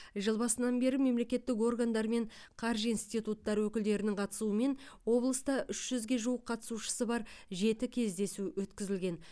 жыл басынан бері мемлекеттік органдар мен қаржы институттары өкілдерінің қатысуымен облыста үш жүзге жуық қатысушысы бар жеті кездесу өткізілген